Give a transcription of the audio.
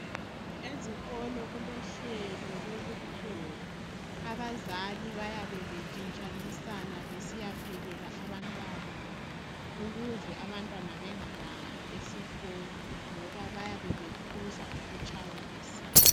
Ezikolo kulohlelo lokupheka abazali bayabe etshintshanisana besiyaphekala abantwana babo ukuze bengalambi esikolo ngoba bayabe bephuza ukutshayisa.